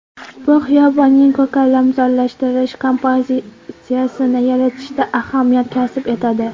Bu xiyobonning ko‘kalamzorlashtirish kompozitsiyasini yaratishda ahamiyat kasb etadi.